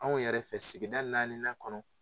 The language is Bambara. Anw yɛrɛ fɛ sigida naaninan kɔnɔ